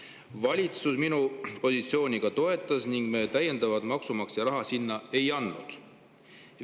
"Valitsus minu positsiooni ka toetas ning me täiendavalt maksumaksja raha sinna ei andnud.